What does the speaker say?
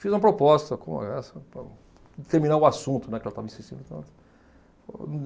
Fiz uma proposta com para terminar o assunto, né, que ela estava insistindo.